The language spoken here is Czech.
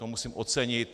To musím ocenit.